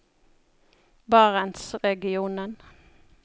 barentsregionen